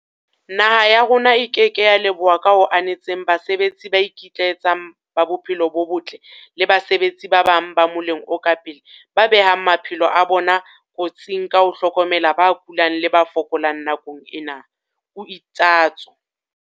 Naha ya rona e ke ke ya leboha ka ho anetseng basebetsi ba ikitlaetsang ba bophelo bo botle le basebetsi ba bang ba moleng o ka pele ba behang maphelo a bona kotsing ka ho hlokomela ba kulang le ba fokolang nakong ena, o itsatso.